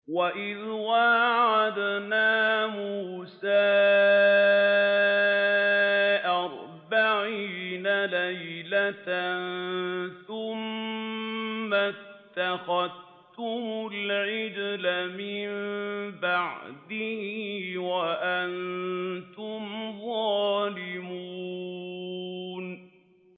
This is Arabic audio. وَإِذْ وَاعَدْنَا مُوسَىٰ أَرْبَعِينَ لَيْلَةً ثُمَّ اتَّخَذْتُمُ الْعِجْلَ مِن بَعْدِهِ وَأَنتُمْ ظَالِمُونَ